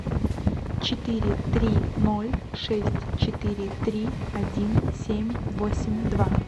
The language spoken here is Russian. четыре три ноль шесть четыре три один семь восемь два